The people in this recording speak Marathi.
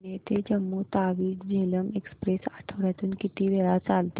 पुणे ते जम्मू तावी झेलम एक्स्प्रेस आठवड्यातून किती वेळा चालते